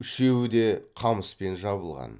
үшеуі де қамыспен жабылған